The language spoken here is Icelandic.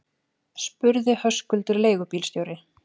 spurði Höskuldur leigubílstjóri.